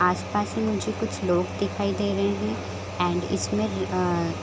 आस - पास में मुझे कुछ लोग दिखाई दे रहें हैं एंड इसमें अ--